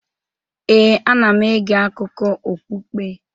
Ee, ana m ege akụkọ okpukpe.